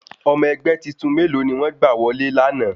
Ọmọ ẹgbẹ́ titun mélòó ni wọ́n gbà wọlé lana?